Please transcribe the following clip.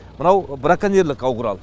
мынау браконьерлік ау құрал